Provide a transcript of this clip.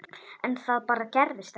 En það bara gerðist ekki.